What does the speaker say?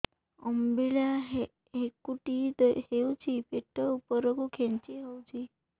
ଅମ୍ବିଳା ହେକୁଟୀ ହେଉଛି ପେଟ ଉପରକୁ ଖେଞ୍ଚି ହଉଚି